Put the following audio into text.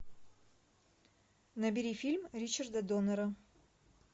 набери фильм ричарда доннера